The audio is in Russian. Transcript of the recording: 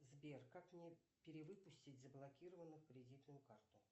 сбер как мне перевыпустить заблокированную кредитную карту